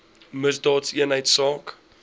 misdaadeenheidsaak